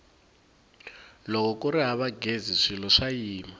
loko kuri hava ghezi swilo swa yima